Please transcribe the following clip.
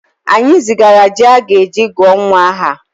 Anyị zigara ji a ga-eji gụọ nwa aha